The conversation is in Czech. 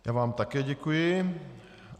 Já vám také děkuji.